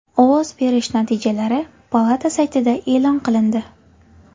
Ovoz berish natijalari palata saytida e’lon qilindi.